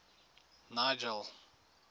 nigel